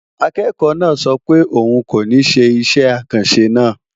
Akẹ́kọ̀ọ́ náà sọ pé òun kò ní ṣe iṣẹ́ àkànṣe náà.